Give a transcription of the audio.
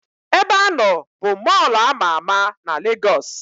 Ebeanọ bụ Mọlụ ama ama na Legos